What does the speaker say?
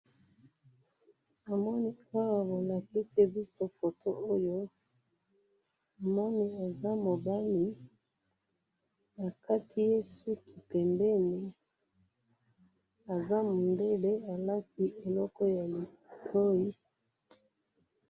namoni awa balakisibiso photo oyo moni ezamobali bakatiye suki pembeni azamundele alati eloko yamatoi